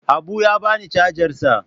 Habu ya bani cajar sa.